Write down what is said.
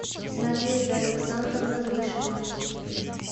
надежда александровна гришина